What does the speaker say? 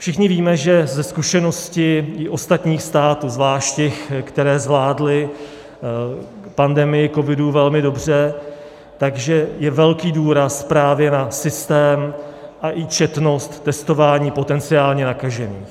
Všichni víme, že ze zkušenosti i ostatních států, zvlášť těch, které zvládly pandemii covidu velmi dobře, že je velký důraz právě na systém a i četnost testování potenciálně nakažených.